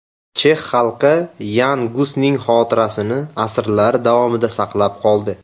Chex xalqi Yan Gusning xotirasini asrlar davomida saqlab qoldi.